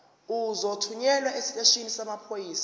uzothunyelwa esiteshini samaphoyisa